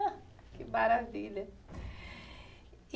Que maravilha.